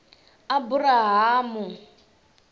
aburahamu